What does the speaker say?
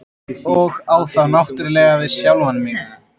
Og á þá náttúrlega við sjálfan mig.